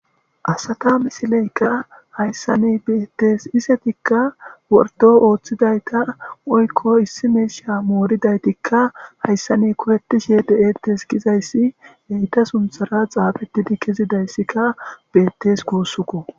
Asata misileykka hayssa ni beettes isetikka wordo ooththidayta oykko issi meesha mooridaytikka hayssa ne kupetishe de'ettes gizayssi heyta sunthara xaafettidi kezidayssika beettes kuussuko